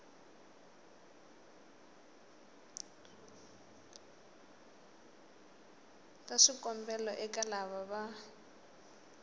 ta swikombelo eka lava va